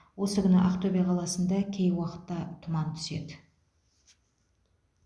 осы күні ақтөбе қаласында кей уақытта тұман түседі